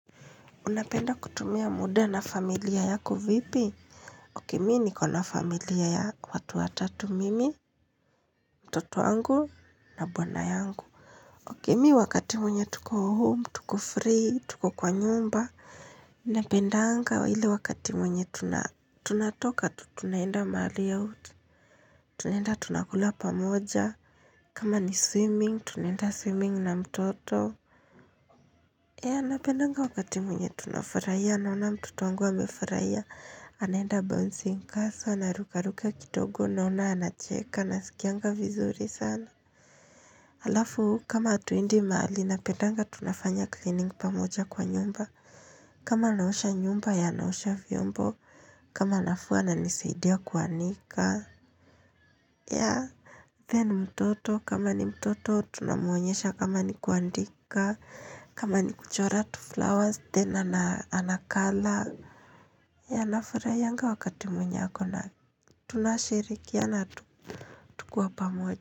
Unapenda kutumia muda na familia yako vipi? Ok mi niko na familia ya watu watatu, mimi, mtoto wangu na bwana yangu. Ok mi wakati mwenye tuko home, tuko free, tuko kwa nyumba. Napendanga ile wakati mwenye tuna tunatoka, tunaenda mahali out. Tunaenda tunakula pamoja. Kama ni swimming, tunaenda swimming na mtoto. Ya napendanga wakati mwenye tunafarahia naona mtoto angu amefurahia. Anaenda bouncing castle anaruka ruka kidogo naona anacheka nasikianga vizuri sana. Alafu, kama hatuendi mahali napedanga tunafanya cleaning pamoja kwa nyumba. Kama naosha nyumba ye anaosha vyombo. Kama nafua ananisaidia kuanika. Ya. Then mtoto, kama ni mtoto, tunamwonyesha kama ni kuandika. Kama ni kuchora tuflowers, then ana anacolor. Ya nafuraiyanga wakati mwenye ako na tunashirikiana tukua pamoja.